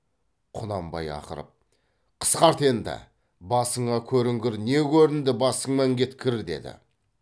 құнанбай ақырып қысқарт енді басыңа көрінгір не көрінді басыңмен кеткір деді